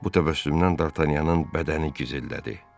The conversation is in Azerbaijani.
Bu təbəssümdən Dartanyanın bədəni gizildədi.